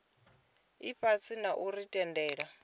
ifhasi na u ri tendela